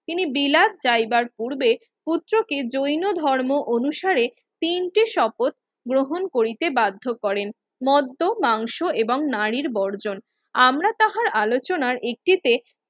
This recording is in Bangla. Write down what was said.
তিনি বিলাত যাইবার পূর্বে পুত্রকে জৈন ধর্ম অনুসারে তিনটি শপথ গ্রহণ করিতে বাধ্য করেন। মধ্য মাংস এবং নারীর বর্জন আমরা তাহার আলোচনার একটিতে